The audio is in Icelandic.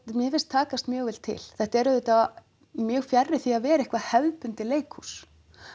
mér finnst takast mjög vel til þetta er auðvitað mjög fjarri því að vera eitthvað hefðbundið leikhús